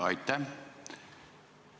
Aitäh!